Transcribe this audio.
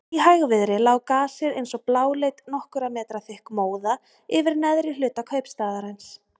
Í hægviðri lá gasið eins og bláleit nokkurra metra þykk móða yfir neðri hluta kaupstaðarins.